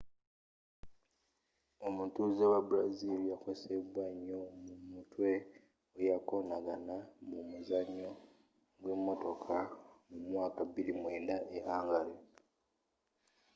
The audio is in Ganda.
omutuzze we brazil yakosebwa nyo ku mutwe weyakonagana mu muzanyo gwe motoka mu mwaka 2009 e hungary